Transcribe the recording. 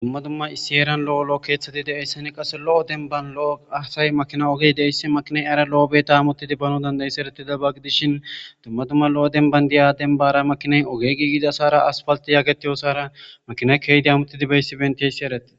Dumma dumma issi eeran lo7o lo7o keeththeti deeyssani qase lo7o denban lo7o asay makina ogey deissi makiney ara lo7o beta amottidi bano dandayis eretida baggidishin dummadumma lo7o denban diya denbara makiney oge gigidasara asfalti yaggetiyosara makina keydi amuttidi beyssibentiessi eretti.